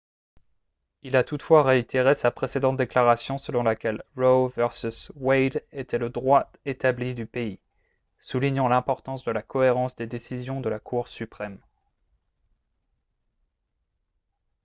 il a toutefois réitéré sa précédente déclaration selon laquelle roe v. wade était le « droit établi du pays » soulignant l’importance de la cohérence des décisions de la cour suprême